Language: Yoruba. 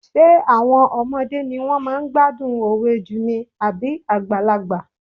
Ṣé àwọn ọmọdé ni wọ́n máa ń gbádùn òwe jù ni àbí àgbàlagbà?